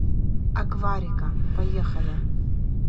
акварика поехали